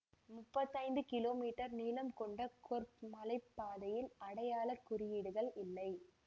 முப்பத்தி ஐந்து கிலோமீட்டர் நீளம் கொண்ட கொர்பு மலை பாதையில் அடையாள குறியீடுகள் இல்லை